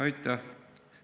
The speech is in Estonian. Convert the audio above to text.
Aitäh!